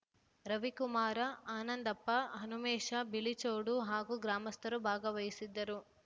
ರವಿಕುಮಾರ ಆನಂದಪ್ಪ ಹನುಮೇಶ ಬಿಳಿಚೋಡು ಹಾಗೂ ಗ್ರಾಮಸ್ಥರು ಭಾಗವಹಿಸಿದ್ದರು